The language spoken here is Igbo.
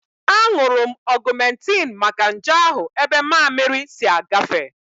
Aṅụrụ m Ọgumentin maka nje ahụ ebe mammiri si agafe